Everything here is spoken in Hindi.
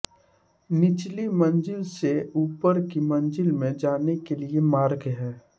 निचली मंजिल से ऊपर की मंजिल में जाने के लिए मार्ग है